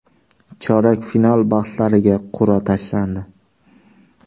Chorak final bahslariga qur’a tashlandi.